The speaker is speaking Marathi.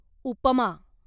उपमा